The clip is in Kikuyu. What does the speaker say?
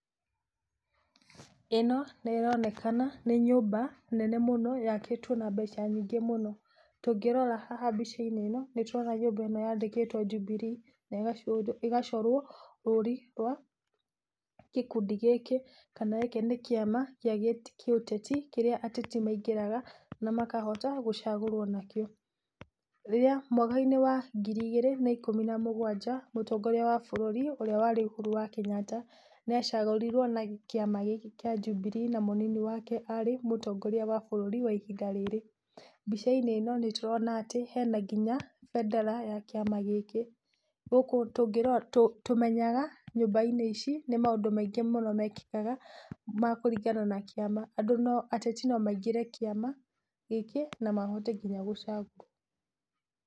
ĩno nĩ ĩronekana nĩ nyũmba nene mũno yakĩtwo na mbeca nyingĩ mũno tũngĩrora haha mbĩcainĩ ĩno nĩtũrona nyũmba ĩno yandĩkĩtwo Jubilee na ĩgacorwo rũri rwa gĩkũndĩ gĩkĩ kana gĩkĩ nĩ kĩama gĩa kĩũtetĩ kĩrĩa ateti maingĩraga na makohotaa gũcagũrwo na kĩo, rĩrĩa mwakainĩ wa ngiri igĩrĩ na ikũmĩ na mũgwanja mũtongoria wa bũrũri ũrĩa warĩ Uhuru wa Kenyatta nĩa cagũrirwo na kĩama gĩkĩ kĩa Jubilee na mũnini wake arĩ mũtongoria wa bũrũri wa ihinda rĩrĩ . Mbicainĩ ĩno ĩtũrona atĩ hena nginya bendera ya kĩama gĩkĩ gũkũ tũngĩro tũ tũmenyaga nyũmba inĩ ici nĩ maũndũ maingĩ mũo mekĩkaga makũrĩngana na kĩama adũ no atetĩ no maingĩre kĩama gĩkĩ na mahote nginya gũcagũrwo.